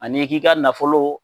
An'i k'i ka nafolo,